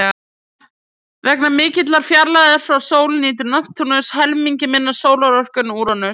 Vegna mikillar fjarlægðar frá sól nýtur Neptúnus helmingi minni sólarorku en Úranus.